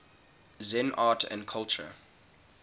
zen art and culture